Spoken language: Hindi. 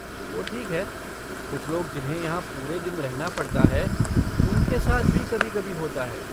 वो ठीक है, कुछ लोग जिन्हें यहाँ पूरे दिन रहना पड़ता है, उनके साथ भी कभी कभी होता है।